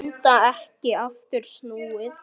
Enda ekki aftur snúið.